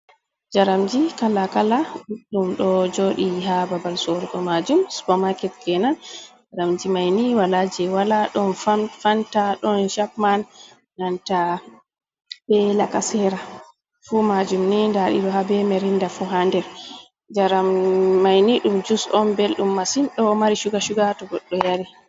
Njaramji kala-kala, ɗuɗɗum ɗo jooɗi haa babal sorugo majum, supa maket kenan. Njaramji mai ni wala jei wala. Ɗon fanta, ɗon capman, nanta be lakasera, fu majum ni nda ɗi ɗo, haa be mirinda fu ha der. Njaram mai ni ɗum jus on belɗum masin, ɗo mari shuga-shuga to goɗɗo yari.